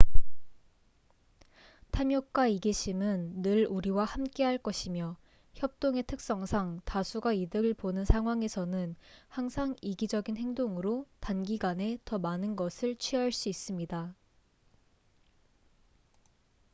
탐욕과 이기심은 늘 우리와 함께할 것이며 협동의 특성상 다수가 이득을 보는 상황에서는 항상 이기적인 행동으로 단기간에 더 많은 것을 취할 수 있습니다